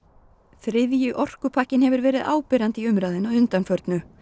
þriðji orkupakkinn hefur verið áberandi í umræðunni að undanförnu